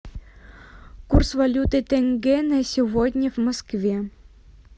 курс валюты тенге на сегодня в москве